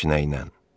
Heç nə ilə.